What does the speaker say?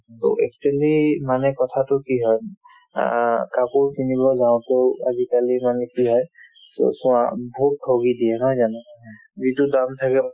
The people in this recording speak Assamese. to actually মানে কথাতো কি হয় অ কাপোৰ কিনিবলৈ যাওঁতেও আজিকালি মানে কি হয় চোৱা বহুত ঠগি দিয়ে নহয় জানো যিটো দাম থাকে